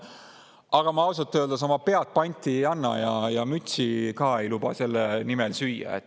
Aga ma ausalt öeldes oma pead panti ei anna ja mütsi ka ei luba selle nimel süüa.